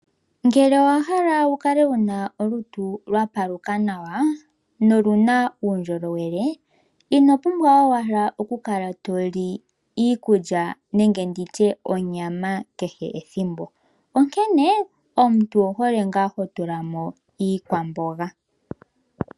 Ngele owa hala wu kale wuna olutu lwa paluka nawa noluna uundjolowele, ino pumbwa owala oku kala toli iikulya nenge nditye onyama kehe ethimbo. Onkene omuntu owu hole ngaa ho tula mo iikwamboga .